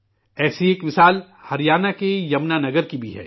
ایسی ہی ایک مثال ہریانہ کے جمنا نگر کا بھی ہے